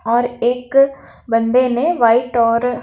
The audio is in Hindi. और एक बंदे ने वाइट और--